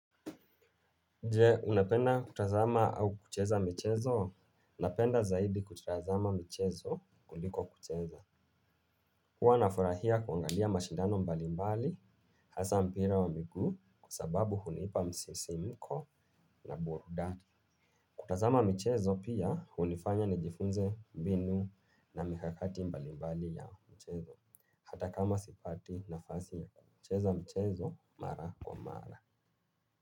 Nje unapenda kutazama au kucheza michezo? Unapenda zaidi kutazama mchezo kuliko kucheza huwa nafurahia kuangalia mashindano mbalimbali hasa mpira wa miguu kwa sababu hunipa msisimuko na burudani. Kutazama michezo pia hunifanya nijifunze mbinu na mikakati mbali mbali ya mchezo hata kama sipati nafasi ya kucheza mchezo mara kwa mara.